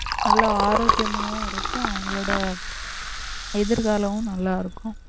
நல்ல ஆரோக்கியமாவும் இருக்கும் அவங்களோட எதிர்காலமும் நல்லா இருக்கும்